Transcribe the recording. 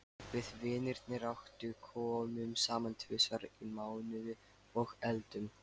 Við vinirnir átta komum saman tvisvar í mánuði og eldum.